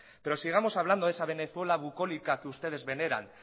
pero sigamos hablando de esa venezuela bucólica que ustedes veneran